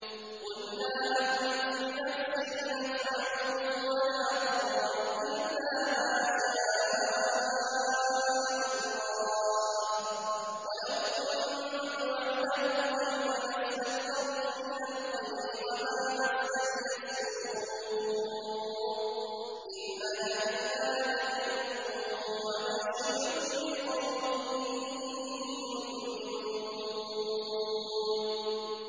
قُل لَّا أَمْلِكُ لِنَفْسِي نَفْعًا وَلَا ضَرًّا إِلَّا مَا شَاءَ اللَّهُ ۚ وَلَوْ كُنتُ أَعْلَمُ الْغَيْبَ لَاسْتَكْثَرْتُ مِنَ الْخَيْرِ وَمَا مَسَّنِيَ السُّوءُ ۚ إِنْ أَنَا إِلَّا نَذِيرٌ وَبَشِيرٌ لِّقَوْمٍ يُؤْمِنُونَ